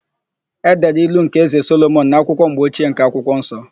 E dere ilu nke Ézē Solomọn n'akwụkwọ mgbochie nke akwụkwọ nsọ.